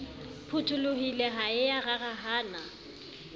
phutholohile ha e ya rarahana